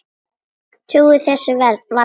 Trúir þessu varla.